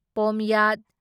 ꯄꯣꯝꯌꯥꯠ